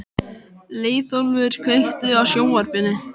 Leiðólfur, kveiktu á sjónvarpinu.